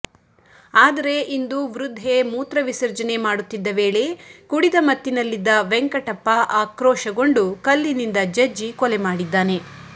ಆದರೆ ಇಂದು ವೃದ್ಧೆ ಮೂತ್ರ ವಿಸರ್ಜನೆ ಮಾಡುತ್ತಿದ್ದ ವೇಳೆ ಕುಡಿದ ಮತ್ತಿನಲ್ಲಿದ್ದ ವೆಂಕಟಪ್ಪ ಆಕ್ರೋಶಗೊಂಡು ಕಲ್ಲಿನಿಂದ ಜಜ್ಜಿ ಕೊಲೆ ಮಾಡಿದ್ದಾನೆ